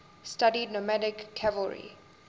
studied nomadic cavalry